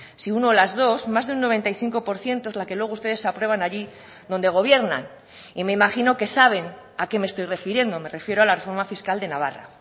si uno las dos más de un noventa y cinco por ciento es la que luego ustedes aprueban allí donde gobiernan y me imagino que saben a qué me estoy refiriendo me refiero a la reforma fiscal de navarra